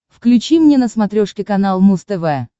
включи мне на смотрешке канал муз тв